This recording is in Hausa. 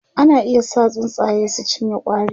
ana iya sa tsuntsaye su cinye ƙwari